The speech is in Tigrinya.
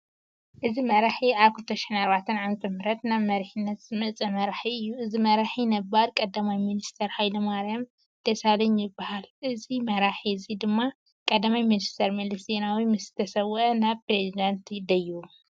እዚ መራሒ ኣብ 2004 ዓ/ም ናብ መሪሒነት ዝወፀ መራሒ እዩ። እዚ መራሒ ነባር ቀዳማይ ሚንስተር ሃይለማርያም ደሳለኝ ይባሃል። እዚ ራሒ እዚ ድማ ቀዳማይ ሚንስተር መለስ ዜናዊ ምስ ተሰወአ ናብ ፕረዚዳንት ደይቡ።